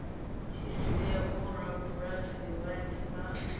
tshi sia vhorabulasi vhanzhi vha